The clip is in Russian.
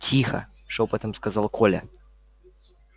тихо шёпотом сказал коля